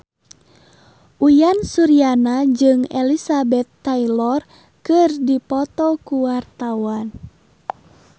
Uyan Suryana jeung Elizabeth Taylor keur dipoto ku wartawan